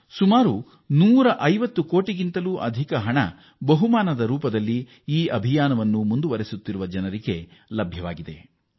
ಸುಮಾರು 150 ಕೋಟಿ ರೂಪಾಯಿಗಳಷ್ಟು ಹಣವನ್ನು ಈ ಅಭಿಯಾನದಲ್ಲಿ ತೊಡಗಿಕೊಂಡಿರುವ ಜನರ ಪೈಕಿ ಕೆಲವರು ಗಳಿಸಿದ್ದಾರೆ